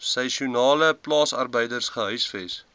seisoenale plaasarbeiders gehuisves